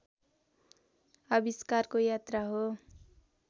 आविष्कारको यात्रा हो